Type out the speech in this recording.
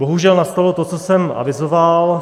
Bohužel nastalo to, co jsem avizoval.